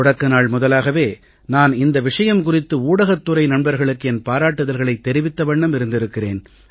தொடக்க நாள் முதலாகவே நான் இந்த விஷயம் குறித்து ஊடகத் துறை நண்பர்களுக்கு என் பாராட்டுதல்களைத் தெரிவித்த வண்ணம் இருந்திருக்கிறேன்